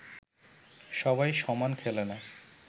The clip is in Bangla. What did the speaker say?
সবাই সমান খেলে না